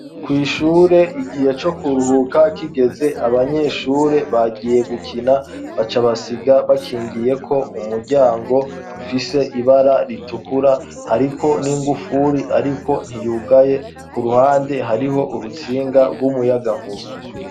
Kw'ishure igihe co kuruhuka kigeze abanyeshure bagiye gukina bacabasiga bakingiye ko umuryango ufise ibara ritukura hariko n'ingufuri, ariko ntiyugaye ku ruhande hariho urutsinga rw'umuyagankura.